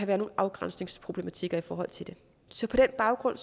være nogle afgrænsningsproblematikker i forhold til det så på den baggrund